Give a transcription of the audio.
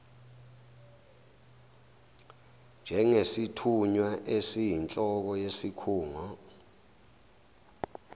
njengesithunywa esiyinhloko yesikhungo